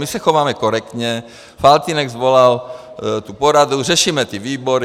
My se chováme korektně, Faltýnek svolal tu poradu, řešíme ty výbory.